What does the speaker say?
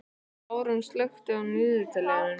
Hafrún, slökktu á niðurteljaranum.